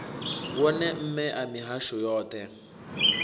wone mme a mihasho yoṱhe